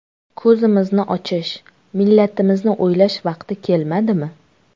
Ko‘zimizni ochish, millatimizni o‘ylash vaqti kelmadimi?